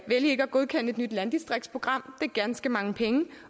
godkende et nyt landdistriktsprogram det er ganske mange penge